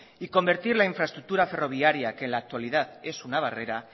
y convertir la infraestructura ferroviaria que en la actual es una barrera